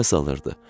Nəfəs alırdı.